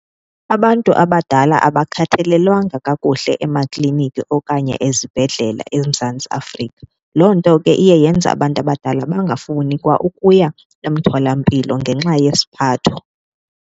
Abantu abadala abakhathalelwanga kakuhle emakliniki okanye ezibhedlela eMzantsi Afrika. Loo nto ke iye yenze abantu abadala bangafuni kwa ukuya emtholampilo ngenxa yesiphatho.